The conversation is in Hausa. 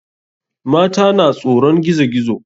Mata na tsoron gizo gizo.